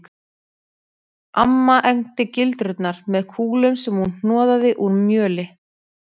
Amma egndi gildrurnar með kúlum sem hún hnoðaði úr mjöli